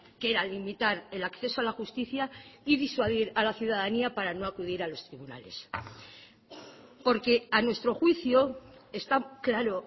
que era limitar el acceso a la justicia y disuadir a la ciudadanía para no acudir a los tribunales porque a nuestro juicio está claro